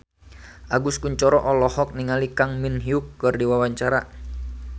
Agus Kuncoro olohok ningali Kang Min Hyuk keur diwawancara